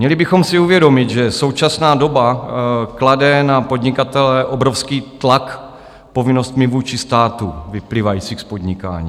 Měli bychom si uvědomit, že současná doba klade na podnikatele obrovský tlak povinnostmi vůči státu vyplývajícími z podnikání.